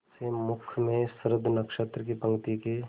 से मुख में शुद्ध नक्षत्रों की पंक्ति के